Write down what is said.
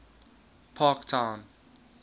parktown